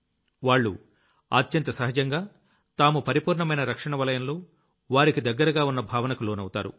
వాళ్లు అత్యంత సహజంగా తాము పరిపూర్ణమైన రక్షణ వలయంలో వారికి దగ్గరగా ఉన్న భావనకు లోనవుతారు